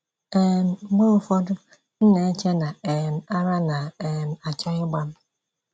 um Mgbe ụfọdụ m na - eche na um ara na - um achọ ịgba m.